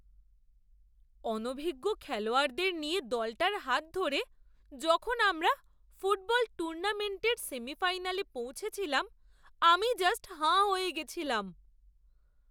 অনভিজ্ঞ খেলোয়াড়দের নিয়ে দলটার হাত ধরে যখন আমরা ফুটবল টুর্নামেন্টের সেমিফাইনালে পৌঁছেছিলাম আমি জাস্ট হাঁ হয়ে গেছিলাম!